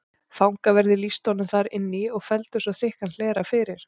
Fangaverðir lýstu honum þar inn í og felldu svo þykkan hlera fyrir.